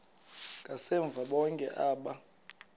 ngasemva bonke aba